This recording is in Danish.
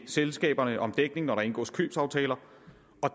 selskaberne om dækning når der indgås købsaftaler